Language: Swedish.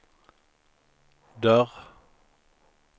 dörr